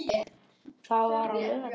Það var á laugardegi.